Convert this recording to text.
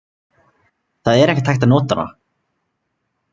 Það er ekkert hægt að nota hana.